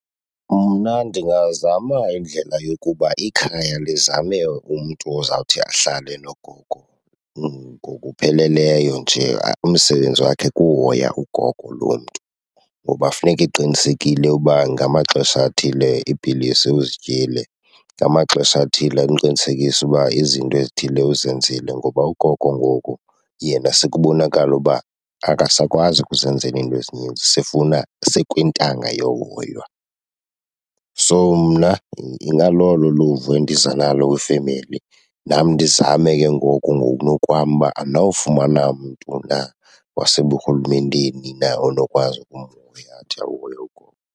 Mna ndingazama indlela yokuba ikhaya lizame umntu ozawuthi ahlale nogogo ngokupheleleyo nje, umsebenzi wakhe kuhoya ugogo loo mntu. Ngoba funeka eqinisekile uba ngamaxesha athile iipilisi uzityile, ngamaxesha athile amqinisekise uba izinto ezithile uzenzile. Ngoba ugogo ngoku yena sekubonakala uba akasakwazi ukuzenzela iinto ezininzi, sifuna, sekwintanga yohoywa. So mna ingalolo luvo endiza nalo kwifemeli, nam ndizame ke ngoku ngokunokwam uba andinawufumana mntu na waseburhulumenteni na onokwazi ukumhoya, athi ahoye ugogo.